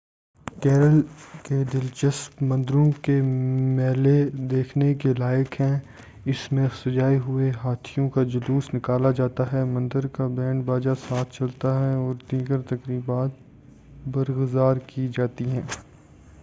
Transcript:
کیرل کے دلچسپ مندروں کے میلے دیکھنے کے لائق ہیں اس میں سجائے ہوئے ہاتھیوں کا جلوس نکالا جاتا ہے مندر کا بینڈ باجا ساتھ چلتا ہے اور دیگر تقریبات برگزار کی جاتی ہیں